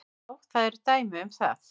Já, það eru dæmi um það.